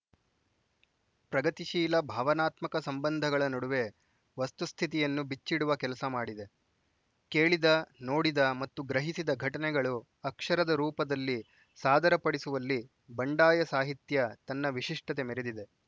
ಪ್ರಗತಿಶೀಲ ಭಾವನಾತ್ಮಕ ಸಂಬಂಧಗಳ ನಡುವೆ ವಸ್ತು ಸ್ಥಿತಿಯನ್ನು ಬಿಚ್ಚಿಡುವ ಕೆಲಸ ಮಾಡಿದೆ ಕೇಳಿದ ನೋಡಿದ ಮತ್ತು ಗ್ರಹಿಸಿದ ಘಟನೆಗಳು ಅಕ್ಷರದ ರೂಪದಲ್ಲಿ ಸಾದರಪಡಿಸುವಲ್ಲಿ ಬಂಡಾಯ ಸಾಹಿತ್ಯ ತನ್ನ ವಿಶಿಷ್ಟತೆ ಮೆರೆದಿದೆ